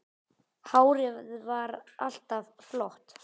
Hárið var alltaf flott.